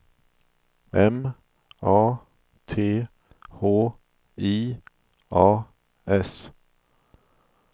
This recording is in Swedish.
M A T H I A S